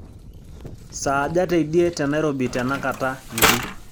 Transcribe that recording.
saaja teidie tenairobi tenakata nji